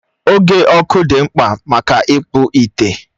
Oke Ọkụ dị mkpa maka ịkpụ ite.